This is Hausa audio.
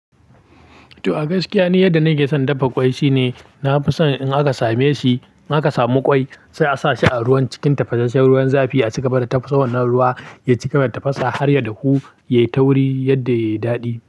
To a gaskiya ni yadda na ke son dafa ƙwai shine na fi son in aka same shi, in aka samu ƙwai sai a sa shi a ruwan cikin tafasashen ruwan zafi a cigaba da tafasawar na ruwa ya cika da tafasa har ya dahu, ya yi tauri yadda ya yi daɗi.